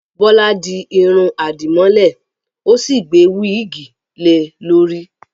Bọ́lá di irun àdìmọ́lẹ̀, ó sì gbé wíìgì lè e lórí